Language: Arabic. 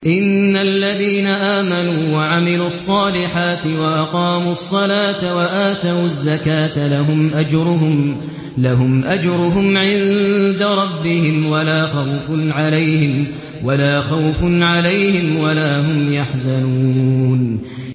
إِنَّ الَّذِينَ آمَنُوا وَعَمِلُوا الصَّالِحَاتِ وَأَقَامُوا الصَّلَاةَ وَآتَوُا الزَّكَاةَ لَهُمْ أَجْرُهُمْ عِندَ رَبِّهِمْ وَلَا خَوْفٌ عَلَيْهِمْ وَلَا هُمْ يَحْزَنُونَ